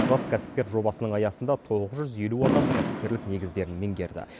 жас кәсіпкер жобасының аясында тоғыз жүз елу адам кәсіпкерлік негіздерін меңгерді